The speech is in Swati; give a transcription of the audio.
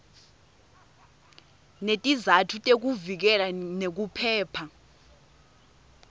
netizatfu tekuvikeleka nekuphepha